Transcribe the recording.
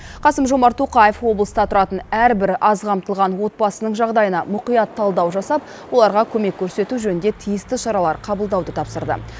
қасым жомарт тоқаев облыста тұратын әрбір аз қамтылған отбасының жағдайына мұқият талдау жасап оларға көмек көрсету жөнінде тиісті шаралар қабылдауды тапсырды